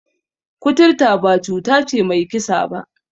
Kuturta ba cuta ce mai kisa ba.